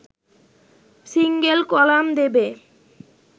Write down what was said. single column দেবে